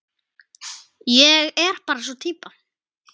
Ég er bara sú týpa.